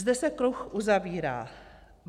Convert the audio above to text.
Zde se kruh uzavírá.